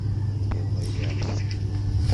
белоярский